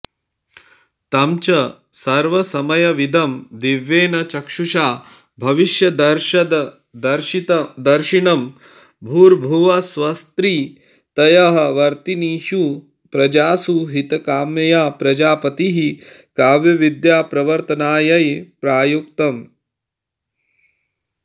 तं च सर्वसमयविदं दिव्येन चक्षुषा भविष्यदर्थदर्शिनं भूर्भुवःस्वस्त्रितयवर्तिनीषु प्रजासु हितकाम्यया प्रजापतिः काव्यविद्याप्रवर्त्तनायै प्रायुङ्क्त